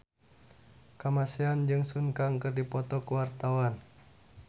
Kamasean jeung Sun Kang keur dipoto ku wartawan